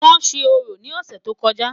wón sé orò ni ọsẹ tó kojá